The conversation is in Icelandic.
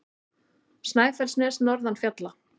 Snæfellsnes norðan fjalla.